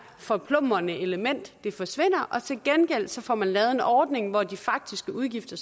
forplumrende element forsvinder og til gengæld får lavet en ordning hvor de faktiske udgifter